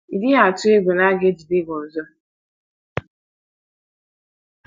Ị́ dịghị atụ egwu na a ga - ejide gị ọzọ?